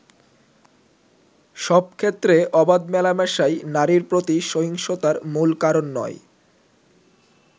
“সব ক্ষেত্রে অবাধ মেলামেশাই নারীর প্রতি সহিংসতার মূল কারণ নয়।